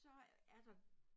Så er der